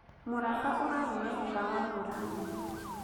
Mũramba ũragũire thutha wa mbura nene